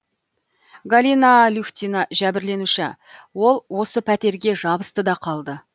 галина люхтина жәбірленуші ол осы пәтерге жабысты да қалды